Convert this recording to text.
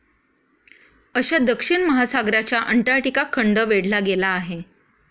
अशा दक्षिण महासागराच्या अंटार्क्टिका खंड वेढला गेला आहे.